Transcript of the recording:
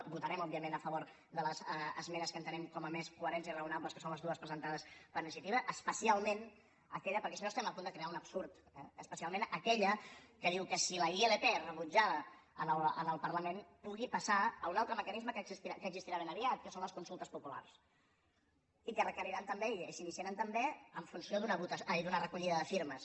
votarem òbviament a favor de les esmenes que entenem com a més coherents i raonables que són les dues presentades per iniciativa especialment aquella perquè si no estem a punt de crear un absurd especial ment aquella que diu que si la ilp és rebutjada en el parlament pugui passar a un altre mecanisme que existirà ben aviat que són les consultes populars i que requeriran també i s’iniciaran també en funció d’una recollida de firmes